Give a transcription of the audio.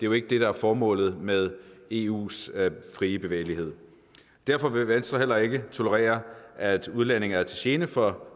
jo ikke det der er formålet med eus frie bevægelighed derfor vil venstre heller ikke tolerere at udlændinge er til gene for